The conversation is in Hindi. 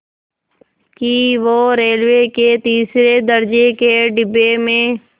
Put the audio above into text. कि वो रेलवे के तीसरे दर्ज़े के डिब्बे में